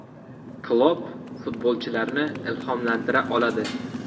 Klopp futbolchilarni ilhomlantira oladi.